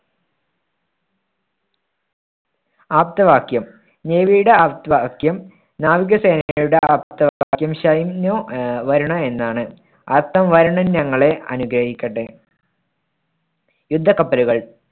ആപ്തവാക്യം navy യുടെ ആപ്തവാക്യം നാവികസേനയുടെ ആപ്തവാക്യം അഹ് വരുണ എന്നാണ് വരുണൻ ഞങ്ങളെ അനുഗ്രഹിക്കട്ടെ. യുദ്ധക്കപ്പലുകൾ